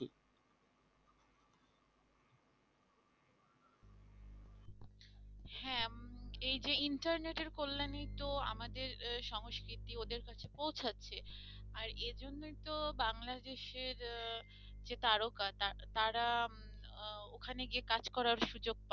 হ্যাঁ এই যে ইন্টারনেট এর কল্যাণে তো আমাদের সংস্কৃতি ওদের কাছে পৌঁছাচ্ছে আর এই জন্যই তো বাংলাদেশের যে তারকারা ওখানে গিয়ে কাজ করার সুযোগ পাচ্ছে।